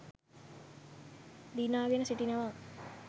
දිනාගෙන සිටිනවා.